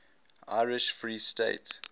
irish free state